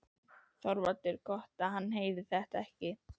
ÞORVALDUR: Gott hann heyrði þetta ekki.